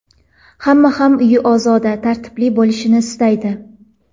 Hamma ham uyi ozoda va tartibli bo‘lishini istaydi.